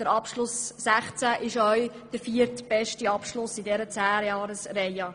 Der Abschluss 2016 war der viertbeste Abschluss in dieser Zehnjahresperiode.